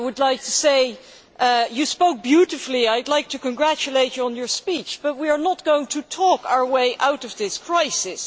I would like to say you spoke beautifully, I would like to congratulate you on your speech, President Barroso, but we are not going to talk our way out of this crisis.